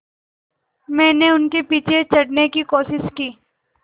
मैंने उनके पीछे चढ़ने की कोशिश की